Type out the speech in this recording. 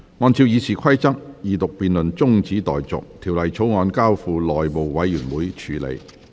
按照《議事規則》，二讀辯論中止待續，《條例草案》交付內務委員會處理。